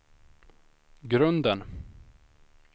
grunden